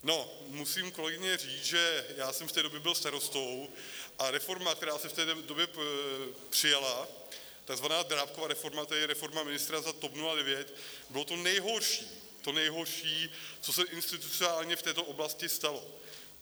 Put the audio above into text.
No, musím, kolegyně, říct, že já jsem v té době byl starostou, a reforma, která se v té době přijala, takzvaná Drábkova reforma, tedy reforma ministra za TOP 09, bylo to nejhorší, to nejhorší, co se institucionálně v této oblasti stalo.